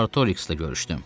Artoriks ilə görüşdüm.